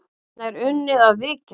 Þarna er unnið að viðgerð.